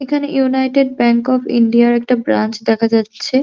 এখানে united bank of ইন্ডিয়ার -র একটা ব্রাঞ্চ দেখা যাচ্ছে।